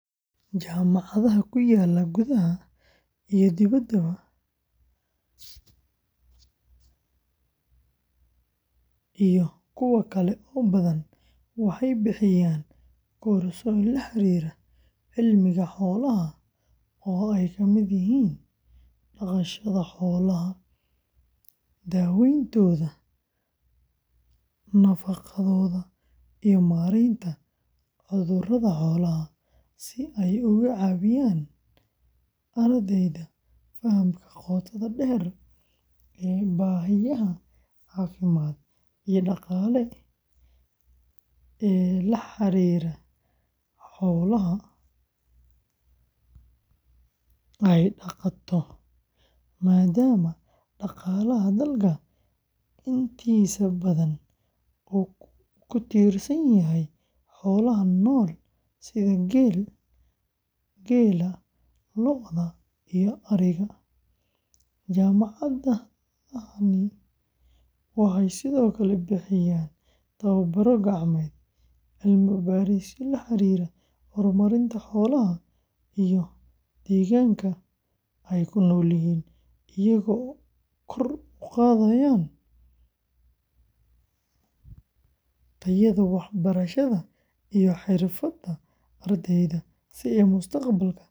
Jaamacadaha ku yaalla gudaha iyo dibaddaba, waxay bixiyaan koorsooyin la xiriira cilmiga xoolaha oo ay kamid yihiin dhaqashada xoolaha, daawayntooda, nafaqadooda, iyo maaraynta cudurrada xoolaha, si ay uga caawiyaan ardayda fahamka qotada dheer ee baahiyaha caafimaad iyo dhaqaale ee la xiriira xoolaha ay dhaqato, maadaama dhaqaalaha dalka intiisa badan uu ku tiirsan yahay xoolaha nool sida geela, lo’da, iyo ariga, jaamacadahani waxay sidoo kale bixiyaan tababbaro gacmeed, cilmi-baarisyo la xiriira horumarinta xoolaha iyo deegaanka ay ku noolyihiin, iyagoo kor u qaadaya tayada waxbarashada iyo xirfadda ardayda si ay mustaqbalka ugu adeegaan bulshadooda.